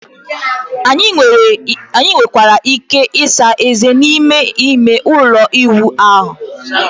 anyị nwekwara ike ịsa ezé n'ime ime ụlọ ịwụ ahụ